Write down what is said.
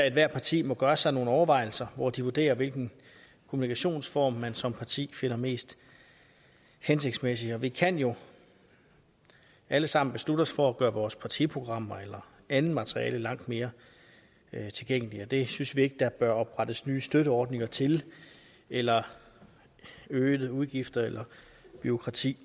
ethvert parti må gøre sig nogle overvejelser hvor de vurderer hvilken kommunikationsform man som parti finder mest hensigtsmæssig vi kan jo alle sammen beslutte os for at gøre vores partiprogrammer eller andet materiale langt mere tilgængelige det synes vi ikke der bør oprettes nye støtteordninger til eller øgede udgifter eller bureaukrati